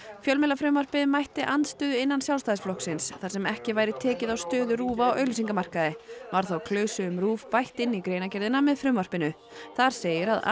fjölmiðlafrumvarpið mætti andstöðu innan Sjálfstæðisflokksins þar sem ekki væri tekið á stöðu RÚV á auglýsingamarkaði var þá klausu um RÚV bætt inn í greinargerðina með frumvarpinu þar segir að